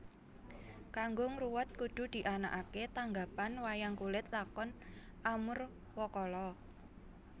Kanggo ngruwat kudu dianaké tanggapan wayang kulit Lakon Amurwakala